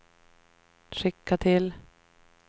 skicka till